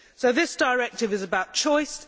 This directive is about choice.